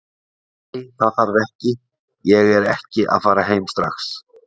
Nei, það þarf ekki, ég er ekki að fara heim strax.